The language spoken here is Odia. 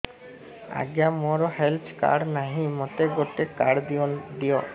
ଆଜ୍ଞା ମୋର ହେଲ୍ଥ କାର୍ଡ ନାହିଁ ମୋତେ ଗୋଟେ କାର୍ଡ ଦିଅ